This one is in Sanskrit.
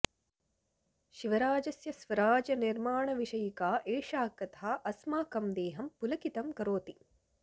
शिवराजस्य स्वराज्यनिर्माणविषयिका एषा कथा अस्माकं देहं पुलकितं करोति